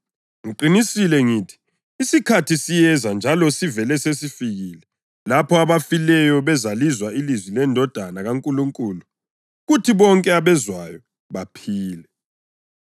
Ngiqinisile ngithi, isikhathi siyeza njalo sivele sesifikile lapho abafileyo bezalizwa ilizwi leNdodana kaNkulunkulu, kuthi bonke abezwayo baphile.